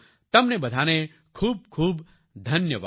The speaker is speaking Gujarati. તમને બધાને ખૂબખૂબ ધન્યવાદ